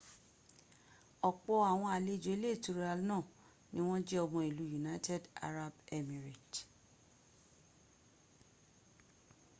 opo awon alejo ile itura naa ni won je omo ilu united arab emirate